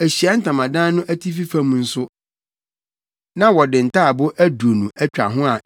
Ahyiae Ntamadan no atifi fam nso, na wɔde ntaaboo aduonu atwa ho